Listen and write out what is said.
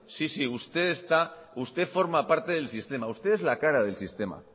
sí sí usted forma parte del sistema usted es la cara del sistema